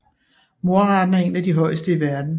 Mordraten er en af de højeste i verden